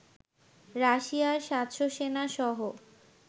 রাশিয়ার ৭০০ সেনা সহ